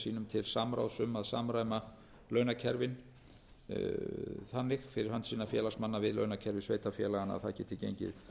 sínum til samráðs um að samræma launakerfi þannig fyrir hönd sinna félagsmanna við launakerfi sveitarfélaganna að það geti gengið